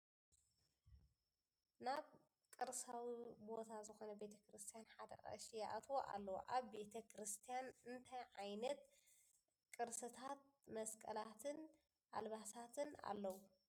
ናብ ቅርሳዊ ቦታ ዝኮነ ቤተክርስትያን ሓደ ቀሺ ይኣትዉ ኣለዉ ። ኣብ ቤተ ክርስትያን ኣንታይ ዕይነት ቅርስታትን መስቀላትን ኣልባሳትን ኣለዉ ?